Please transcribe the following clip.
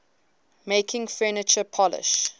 making furniture polish